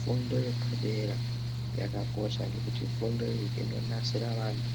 Fundo ye padera yakakosha ngekuti fundo iyi ino nasira vantu